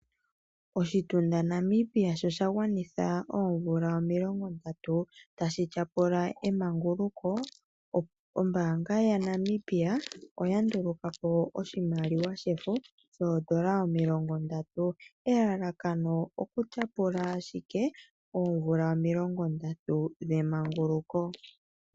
Oshitunda Namibia sho shagwanitha oomvula omilongo ndatu tashi tyapula emanguluko, Ombaanga ya Namibia oya nduluka po oshimaliwa shefo shoondola omilongo ndatu. Elalakano oku tyapula ashike oomvula omilongo ndatu dhemanguluko.